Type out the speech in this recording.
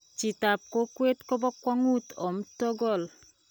Chitap kokwe kupokwong'ut om togol.